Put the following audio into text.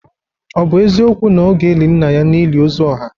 Ọ bụ eziokwu na ọ ga-eli nna ya n'ili ozu ọha?